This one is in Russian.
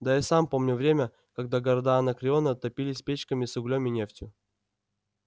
да я сам помню время когда города анакреона топились печками с углем и нефтью